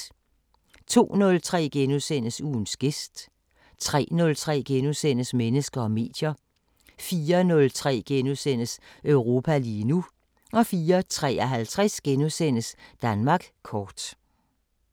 02:03: Ugens gæst * 03:03: Mennesker og medier * 04:03: Europa lige nu * 04:53: Danmark kort *